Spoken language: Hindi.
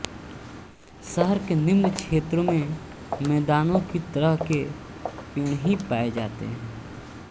शहर के निम्न क्षेत्रों में मैदानों की तरह के पेड़ ही पाये जाते हैं